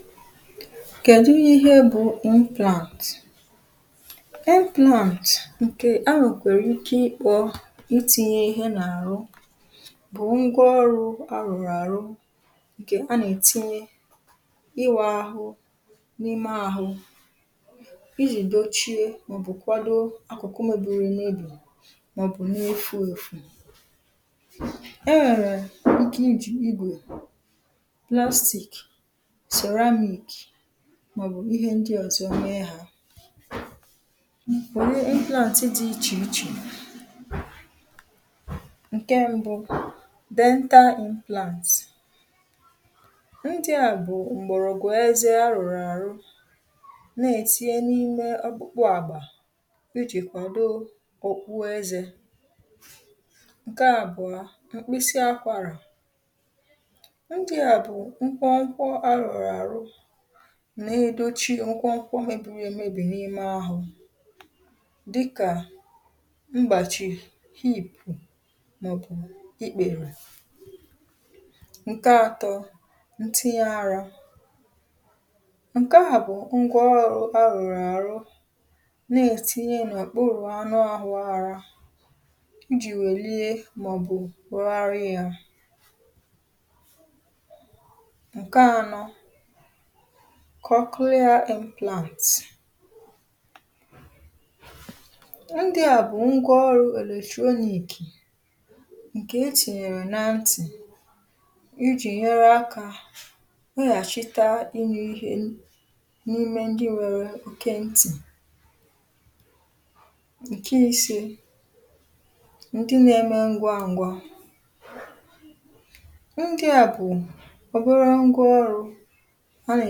FILE 130 kẹ̀dụ ịhẹ bụ implant? implant, ǹkè a nwèkwàrà ike ịkpọ̄ itīnye ịhẹ n’àrụ, bụ̀ ngwa ọrụ arụ̀rụ̀ àrụ ǹkè a nà ètinye, ịwā ahụ n’ime ahụ, ijì dochie mà ọ̀ bụ̀ kwado akụ̀kụ mebiri emebì mà ọ̀ bụ na efū èfù. ẹ nwẹ̀rẹ̀ ike ijì igwè mà ọ̀ bụ̀ plastic, ceramic, mà ọ̀ bụ̀ ịhẹ ndị ọzọ me hā ẹ nwẹ̀rẹ̀ implant dị ichè ichè. ǹkẹ mbụ, dental implant. ndị̄à bụ̀ m̀gbọ̀rọgwụ ẹzẹ arụ̀rụ̀ àrụ, nà ètinye n’ime ọkpụkpụ àgbà, ijì kwàdo ọkpụkpụ ẹzẹ̄. ǹkẹ àbụ̀ọ bụ̀ mkpịsị akwara. ndịà bụ̀ mkpọmkpọ arụ̀rụ̀ àrụ na edochi mkpọmkpọ mebiri e mebì n’ime ahụ, dịkà mgbàchị̀ hip, mà ọ̀ bụ̀ ikpèrè. ǹkẹ atọ, ntinye arā. ǹkẹ à bụ̀ ngwa ọrụ̄ arụ̀rụ̀ àrụ, nà ètinye n’òkpurù anụ ahụ arā, ijì wèlie mà ọ̀ bụ̀ rugharịa ya. ǹkẹ anọ, coclear implant. ndịà bụ̀ ngwa ọrụ èletronic, ǹkè e tìnyèrè na ntì, ijì nyẹrẹ akā wẹghàchite ịnụ ihe n’ime ndị nwẹrẹ ike ntì. ǹkẹ ise, ndị na eme ngwa ngwa. ndịà bụ̀ ọbere ngwa ọrụ̄ a nà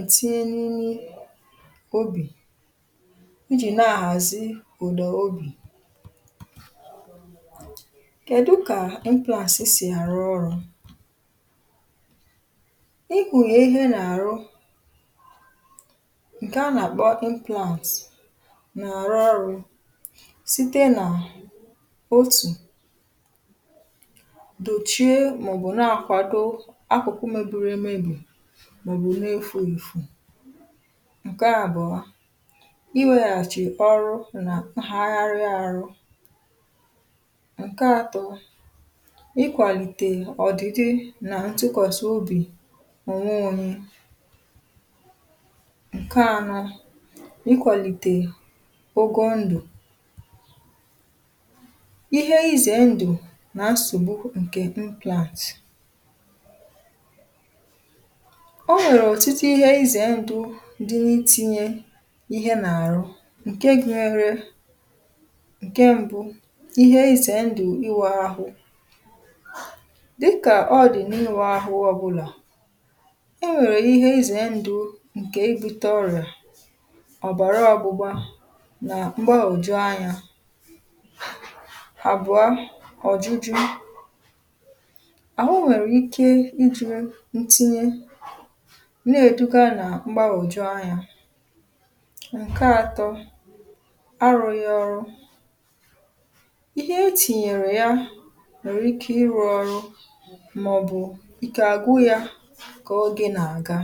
ètinye n’ime obì, ijì na ahàzi ụ̀dà obì. kẹ̀dụ kà implant sì àrụ ọrụ̄? ikpùnyè ihe n’àrụ, ǹkẹ̀ a nà àkpọ implant, nà àrụ ọrụ̄, site nà otù, dòchie mà ọ̀ bụ nà akwàdo akụ̀kụ mebiri emebì mà ọ̀ bụ na efū èfù. ǹkẹ àbụ̀ọ, iwēghàchì ọrụ nà mpaghara arụ. ǹkẹ atọ, ịkwàlìtè ọ̀dịdị nà ntụkwàsị obì onwe onye. ǹkẹ anọ, ịkwàlìtè ogo ndụ̀. ihe ịzẹ̀ ndụ̀ nà nsògbu ǹkẹ̀ implant. ọ nwẹ̀rẹ̀ ọ̀tụtụ ịhẹ ịzẹ̀ ndụ̄ dị na itinye ịhẹ n’àrụ, ǹke gunyẹrẹ, ǹkẹ mbụ, ịhẹ ịzẹ̀ ndụ̀ ǹkẹ iwụ̄ ahụ. dịkà ọ dị n’ịwụ ahụ ọbụlà, e nwèrè ihe ịzẹ̀ ndụ̄ ǹkè ibute ọrị̀à, ọ̀bàra ọgbụgba, nà mgbagwòju anya. àbụ̀a, ọ̀jụjụ. àhụ nwè ike ị jụ̄ ntinye, nà èduga nà mgbaghọ̀ju anyā ǹkẹ atọ, arụghị ọrụ, ihe etìnyè nwèrè ike ịrụ̄ ọrụ, mà ọ̀ bụ̀ ike àgwụ ya kà ogē nà àga.